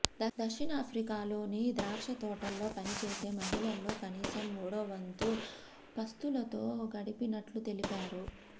దక్షిణాఫ్రికాలోని ద్రాక్ష తోటల్లో పని చేసే మహిళల్లో కనీసం మూడోవంతు పస్తులతో గడిపినట్టు తెలిపారు